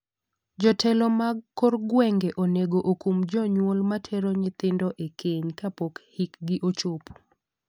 Jotelo mag kor gweng'e onego okum jonyuol matero nyithindo e keny kapk hikgi ochopo.